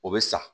O bɛ sa